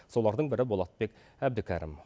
солардың бірі болатбек әбдікәрім